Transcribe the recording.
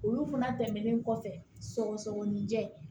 Olu fana tɛmɛnen kɔfɛ sɔgɔsɔgɔninjɛ